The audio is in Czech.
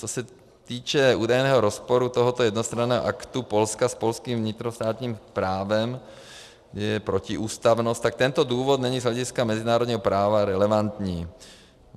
Co se týče údajného rozporu tohoto jednostranného aktu Polska s polským vnitrostátním právem, je protiústavnost, tak tento důvod není z hlediska mezinárodního práva relevantní.